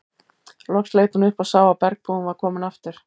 Loks leit hún upp og sá að bergbúinn var kominn aftur.